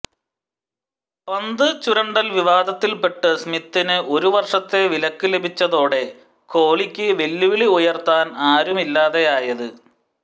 പന്ത് ചുരണ്ടൽ വിവാദത്തിൽപ്പെട്ട് സ്മിത്തിന് ഒരു വർഷത്തെ വിലക്ക് ലഭിച്ചതോടെ കോഹ്ലിക്ക് വെല്ലുവിളി ഉയർത്താൻ ആരുമില്ലാതെയായത്